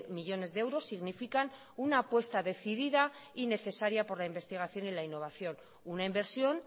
millónes de euros significan una apuesta decidida y necesaria por la investigación y la innovación una inversión